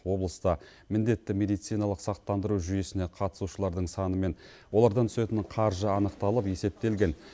облыста міндетті медициналық сақтандыру жүйесіне қатысушылардың саны мен олардан түсетін қаржы анықталып есептелген